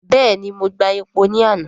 Bẹ́ẹ̀ni, mo gba epo ní àná.